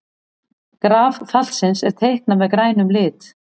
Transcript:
Graf fallsins er teiknað með grænum lit.